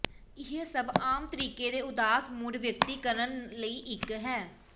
ਇਹ ਸਭ ਆਮ ਤਰੀਕੇ ਦੇ ਉਦਾਸ ਮੂਡ ਵਿਅਕਤ ਕਰਨ ਲਈ ਇੱਕ ਹੈ